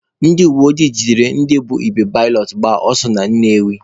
Ndị uweojii jidere ndị bu igbe balọt agba ọsọ na Nnewi.